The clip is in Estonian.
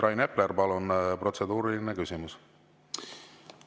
Rain Epler, palun, protseduuriline küsimus!